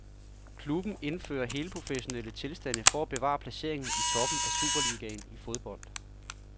Klubben indfører helprofessionelle tilstande for at bevare placeringen i toppen af superligaen i fodbold.